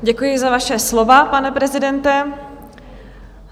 Děkuji za vaše slova, pane prezidente.